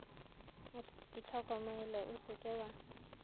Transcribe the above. itlhokomele o se ke wa